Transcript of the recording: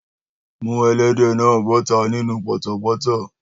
Mú ẹlẹ́dẹ̀ náà bọ́tà nínú pọ̀tọ̀pọ́tọ́!